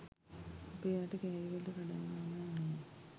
අපේ රට කෑලිවලට කඩන්න ඕනැ නෑ